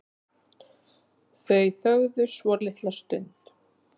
Þau þögðu svolitla stund.